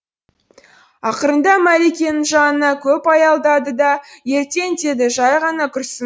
ақырында мәликенің жанына көп аялдады да ертең деді жай ғана күрсін